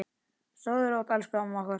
Sofðu rótt elsku amma okkar.